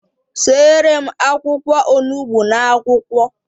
Seere m akwụkwọ onugbu n'akwukwo